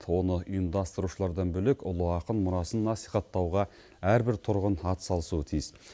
оны ұйымдастырушылардан бөлек ұлы ақын мұрасын насихаттауға әрбір тұрғын атсалысуы тиіс